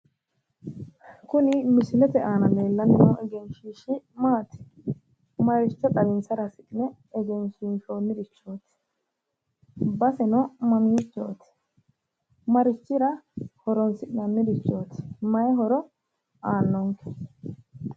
Kuni misilete aana leellanni noo egenshiishshi maati? maricho xawinsara hasi'ne egensiinsoonnirichoti? baseno mamiichooti? marichira horonsi'nannirichooti? maayi horo aannonke?